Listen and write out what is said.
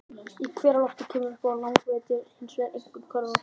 Í hveralofti, sem kemur upp á lághitasvæðunum, er hins vegar einkum köfnunarefni.